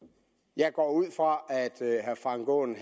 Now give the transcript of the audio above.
jeg går ud fra at herre frank aaen